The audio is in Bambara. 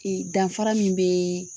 danfara min bɛ